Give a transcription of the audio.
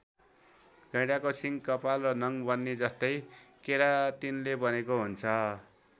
गैंडाको सिङ कपाल र नङ बन्ने जस्तै केराटिनले बनेको हुन्छ।